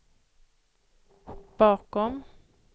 bakom